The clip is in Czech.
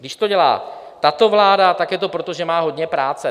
Když to dělá tato vláda, tak je to proto, že má hodně práce.